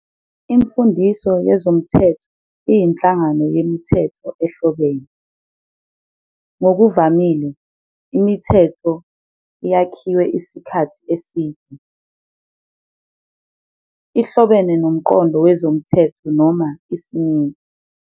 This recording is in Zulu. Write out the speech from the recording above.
Imfundiso yezomthetho iyinhlangano yemithetho ehlobene, ngokuvamile yomthetho ovamile futhi eyakhiwe isikhathi eside, ehlobene nomqondo wezomthetho noma isimiso.